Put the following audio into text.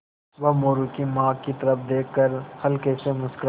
वह मोरू की माँ की तरफ़ देख कर हल्के से मुस्कराये